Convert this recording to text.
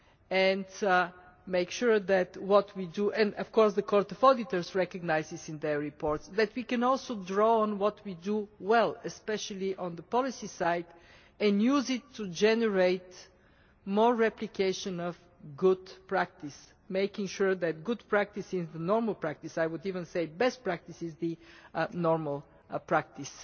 And, of course, the Court of Auditors recognises in its reports that we can also draw on what we do well, especially on the policy side, and use it to generate more replication of good practice, making sure that good practice is the normal practice I would even say best practice should be the normal practice.